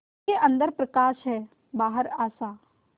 उसके अंदर प्रकाश है बाहर आशा